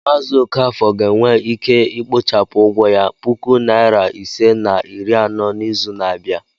Mazi okafor ga-enwe ike ikpochapụ ụgwọ ya puku nari ise na iri anọ n'izu na-abịa.